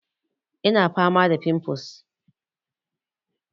Ina fama da fimfles